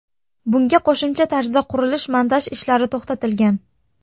Bunga qo‘shimcha tarzda qurilish-montaj ishlari to‘xtatilgan.